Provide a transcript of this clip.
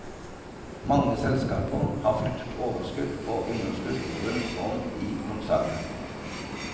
Mange selskaper har flyttet overskudd og underskudd rundt om i konsernet.